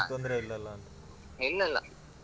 ಏನು ತೊಂದ್ರೆ ಇಲ್ಲಲ್ಲಾ?